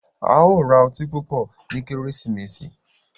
A yóò ra ọti pupọ nyi Kérésìmesì.